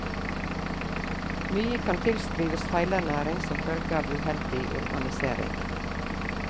Mye kan tilskrives feilernæring som følge av uheldig urbanisering.